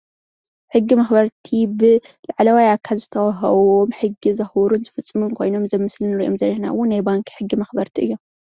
ሕጊ መክበርቲ ብላዕለዋይ ኣካል ዝተወሃቦም ብሕጊ ዘክብሩን ዝፍፅሙን ኮይኖም እዚ ኣብ ምስሊ እንሪኦም ዘለና እውን ናይ ባንኪ ሕጊ መክበርቲ እዮም፡፡